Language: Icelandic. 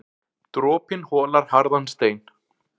Dropinn holar harðan stein.